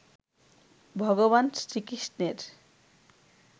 ভগবান শ্রীকৃষ্ণের